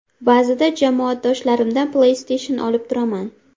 Ba’zida jamoadoshlarimdan Play Station olib turaman.